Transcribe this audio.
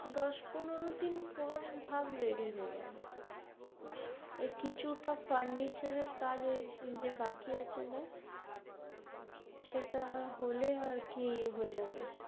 দশ পনেরো দিন পর ভাব ready হয়ে যাবে কিছুটা furniture এর কাজ ওই যে বাকি আছে ব্যাস সেটা হলে আরকি হয়ে যাবে।